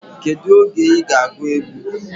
Kedu oge iga agu egwu?